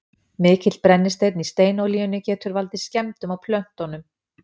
mikill brennisteinn í steinolíunni getur valdið skemmdum á plöntunum